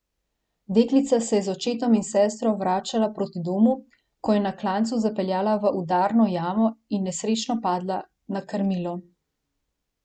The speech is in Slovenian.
Deklica se je z očetom in sestro vračala proti domu, ko je na klancu zapeljala v udarno jamo in nesrečno padla na krmilo.